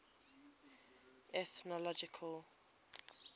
ethnological